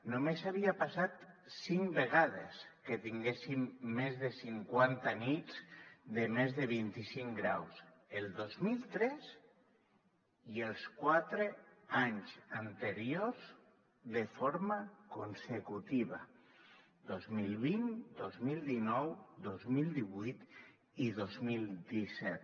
només havia passat cinc vegades que tinguéssim més de cinquanta nits de més de vint i cinc graus el dos mil tres i els quatre anys anteriors de forma consecutiva dos mil vint dos mil dinou dos mil divuit i dos mil disset